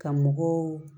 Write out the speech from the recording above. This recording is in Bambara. Ka mɔgɔw